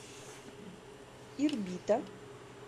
ирбита